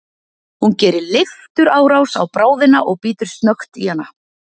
Hún gerir leifturárás á bráðina og bítur snöggt í hana.